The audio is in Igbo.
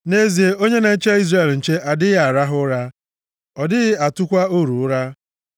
nʼezie onye na-eche Izrel nche adịghị arahụ ụra, ọ dịghị atụkwa oru ụra.